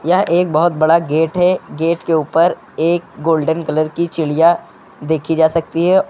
यह एक बहोत बड़ा गेट है गेट के ऊपर एक गोल्डन कलर की चिड़िया देखी जा सकती है।